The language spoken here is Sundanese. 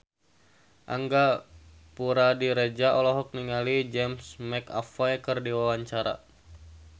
Angga Puradiredja olohok ningali James McAvoy keur diwawancara